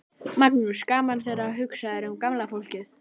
Magnús: Gaman þegar hugsað er um gamla fólkið?